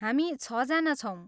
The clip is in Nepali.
हामी छजना छौँ।